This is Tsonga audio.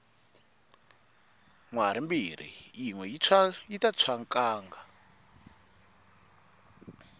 nhwari mbirhi yinwe yita tshwa nkanga